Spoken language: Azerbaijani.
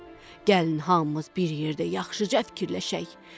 Gəlin hamımız bir yerdə yaxşıca fikirləşək.